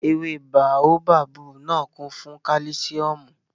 Ewé báóbábù náà kún fún kálísíọ̀mù